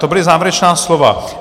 To byla závěrečná slova.